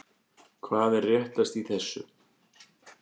Hvað er réttast í þessu?